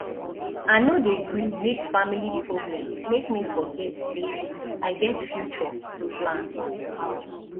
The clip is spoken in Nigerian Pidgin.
i no dey gree make family problem make me forget sey i get future to plan